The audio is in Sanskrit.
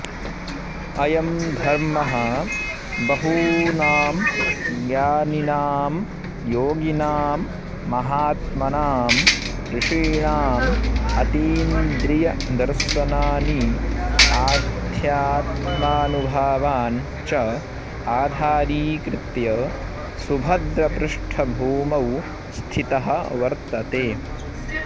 अयं धर्मः बहूनां ज्ञानिनां योगिनां महात्मनाम् ऋषीणाम् अतीन्द्रियदर्शनानि अध्यात्मानुभवान् च आधारीकृत्य सुभद्रपृष्ठभूमौ स्थितः वर्तते